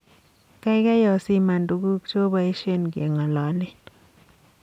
Gaigai osiman tuguk chobaishen kengololen